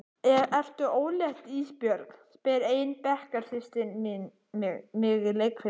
Ertu ólétt Ísbjörg, spyr ein bekkjarsystir mín mig í leikfimi.